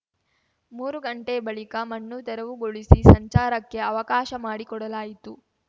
ಮೂರು ಗಂಟೆ ಬಳಿಕ ಮಣ್ಣು ತೆರವುಗೊಳಿಸಿ ಸಂಚಾರಕ್ಕೆ ಅವಕಾಶ ಮಾಡಿ ಕೊಡಲಾಯಿತು